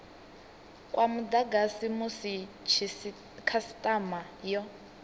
kwa mudagasi musi khasitama yo